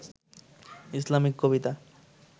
Islamic Kabita